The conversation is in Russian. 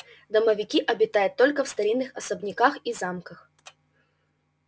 домовики обитают только в старинных особняках и замках